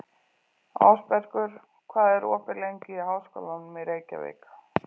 Ásbergur, hvað er opið lengi í Háskólanum í Reykjavík?